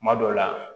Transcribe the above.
Kuma dɔw la